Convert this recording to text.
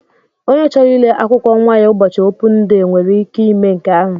Ònye chọrọ ile akwụkwọ nwa ya ụbọchị opun dee nwere ike ime nke ahụ.